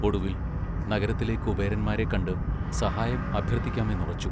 ഒടുവിൽ, നഗരത്തിലെ കുബേരന്മാരെ കണ്ട് സഹായം അഭ്യർത്ഥിക്കാമെന്നുറച്ചു.